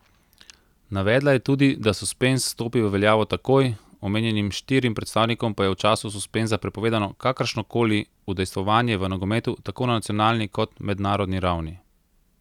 Navedla je tudi, da suspenz stopi v veljavo takoj, omenjenim štirim predstavnikom pa je v času suspenza prepovedano kakršno koli udejstvovanje v nogometu tako na nacionalni kot mednarodni ravni.